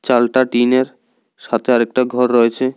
চালটা টিন -এর সাথে আরেকটা ঘর রয়েছে।